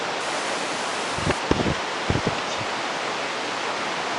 вампир детектив